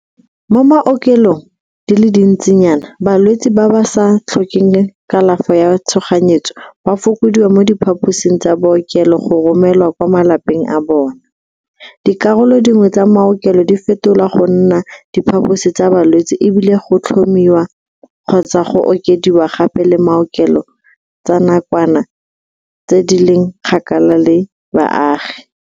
Mo maokelong di le dintsinyana balwetse ba ba sa tlhokeng kalafo ya tshoganyetso ba fokodiwa mo diphaposing tsa bookelo go romelwa kwa malapeng a bona, dikarolo dingwe tsa maokelo di fetolwa go nna diphaposi tsa balwetse e bile go tlhomiwa kgotsa go okediwa gape le maokelo tsa nakwana tse di leng kgakala le baagi.